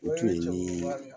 O tun nii